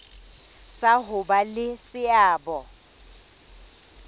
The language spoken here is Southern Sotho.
sa ho ba le seabo